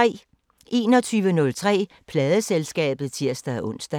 21:03: Pladeselskabet (tir-ons)